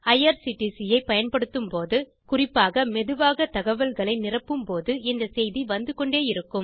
IRCTC ஐ பயன்படுத்தும் போது குறிப்பாக மெதுவாகத் தகவல்களை நிரப்பும் போது இந்த செய்தி வந்து கொண்டே இருக்கும்